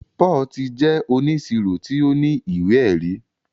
Paul tì jẹ ọníṣíró tì o ní iwé-ẹ̀rí